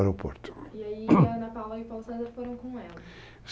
E aí Ana Paula e Paulo César foram com ela.